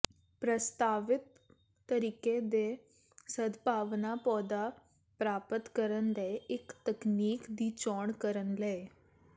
ਪ੍ਰਸਤਾਵਿਤ ਤਰੀਕੇ ਦੇ ਸਦਭਾਵਨਾ ਪੌਦਾ ਪ੍ਰਾਪਤ ਕਰਨ ਲਈ ਇੱਕ ਤਕਨੀਕ ਦੀ ਚੋਣ ਕਰਨ ਲਈ